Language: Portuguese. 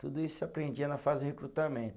Tudo isso eu aprendia na fase de recrutamento.